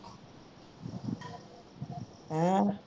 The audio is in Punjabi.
ਹੈਂ